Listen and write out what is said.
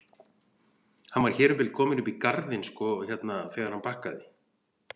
Hann var hér um bil kominn upp í garðinn sko hérna þegar hann bakkaði.